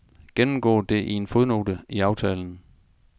Gennemgå det i en fodnote i aftalen.